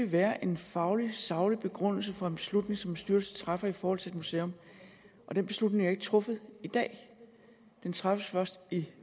være en faglig saglig begrundelse for en beslutning som en styrelse træffer i forhold til et museum den beslutning er ikke truffet i dag den træffes først i